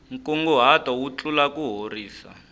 nkunguhato wu tlula kuhorisa